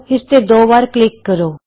ਇਸ ਤੇ ਦੋ ਵਾਰ ਕਲਿਕ ਕਰੋ